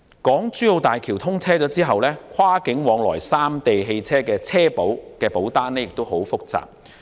港珠澳大橋通車後，跨境往來三地汽車的車險保單亦很複雜。